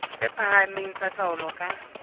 tse phahameng tsa taolo ka